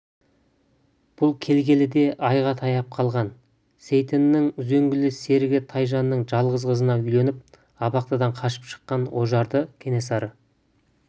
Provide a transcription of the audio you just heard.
бұл келгелі де айға таяп қалған сейтеннің үзеңгілес серігі тайжанның жалғыз қызына үйленіп абақтыдан қашып шыққан ожарды кенесары